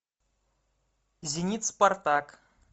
зенит спартак